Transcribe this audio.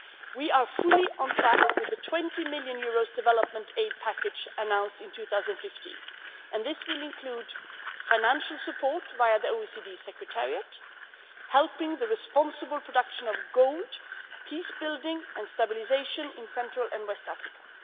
We are fully on track with the EUR 20 million development aid package announced in 2015, and this will include financial support via the OECD Secretariat, helping the responsible production of gold, peace building and stabilisation in Central and West Africa.